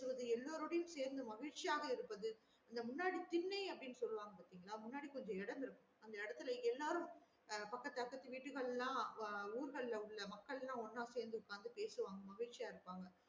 இவர்கள் எல்லாரோடையும் சேர்ந்து மகிழ்ச்சியாக இருப்பது இந்த முன்னாடி திண்ணை அப்டின்னு சொல்லுவாங்க பாத்தேங்களா முன்னாடி கொஞ்சம் இடம் இருக்கும் அந்த எடத்துல எல்லாரும் பக்கது அக்கத்து வீடுகள் எல்லாம் ஊர்கள் ல உள்ள மக்கள் எல்லாம் ஒண்ணா சேந்து பேசுவாங்க மகிழ்ச்சியா இருப்பாங்க